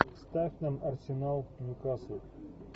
ставь нам арсенал нью касл